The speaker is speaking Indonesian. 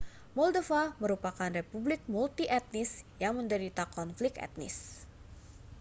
moldova merupakan republik multietnis yang menderita konflik etnis